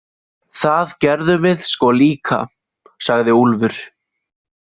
Það gerðum við sko líka, sagði Úlfur.